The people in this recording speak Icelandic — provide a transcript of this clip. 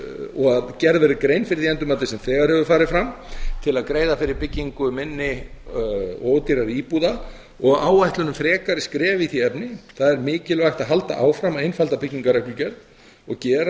að gerð verð grein fyrir því endurmati sem þegar hefur farið fram til að greiða fyrir byggingu minni og ódýrari íbúða og áætlun um frekari skref í því efni það er mikilvægt að halda áfram að einfalda byggingarreglugerð og gera